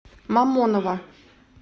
мамоново